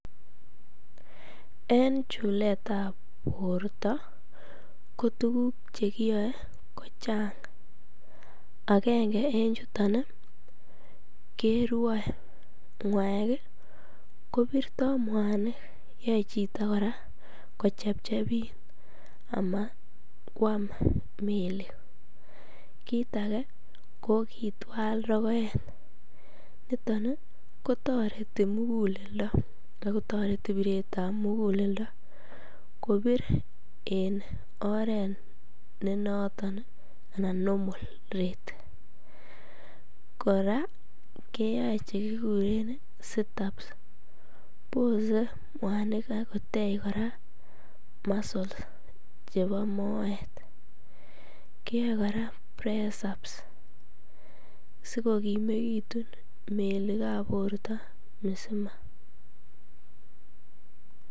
En chuleetab borto kotukuk chekiyoe kochang akeng'e en chuton kerwoe ngwaek kopirto mwani, yoee chito kora kochebchebit amatkwam melik, kiit akee ko kitwal rokoet, niton kotoreti mukuleldo ak kotoreti biretab mukuleldo kobir en oreet nenoton anan normal rate, kora keyoe chekikuren sit ups bosee mwanik ak kotech kora muscle chebo moet kiyoe kora presaps sikokimekitun melikab borto misima.